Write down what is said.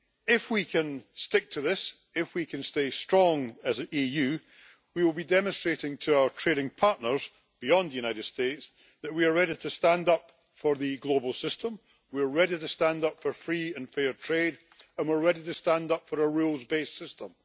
If we can stick to this, if we can stay strong as the EU, we will be demonstrating to our trading partners beyond the United States that we are ready to stand up for the global system, we are ready to stand up for free and fair trade and we're ready to stand up for a rules based system.